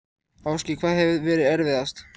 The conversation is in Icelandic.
Ásgeir: Hvað hefur verið erfiðast?